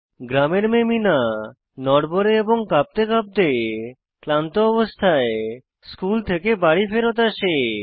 গ্রামের মেয়ে মিনা নড়বড়ে এবং কাঁপতে কাঁপতে ক্লান্ত অবস্থায় স্কুল থেকে বাড়ি ফেরৎ আসে